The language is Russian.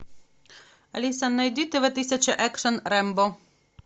алиса найди тв тысяча экшен рембо